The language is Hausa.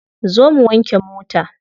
Zo mu wanke mota.